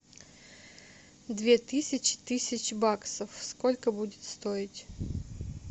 две тысячи тысяч баксов сколько будет стоить